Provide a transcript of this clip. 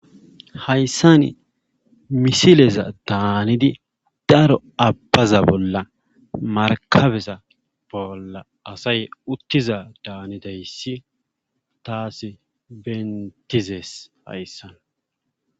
Hayssani misileza daanidi daro abbaza bolla markkabeza bolla asay uttiza daanidayssi taasi benttizees hayssan.